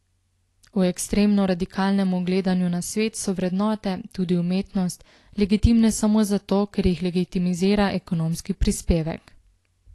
V ekstremno radikalnemu gledanju na svet so vrednote, tudi umetnost, legitimne samo zato, ker jih legitimizira ekonomski prispevek.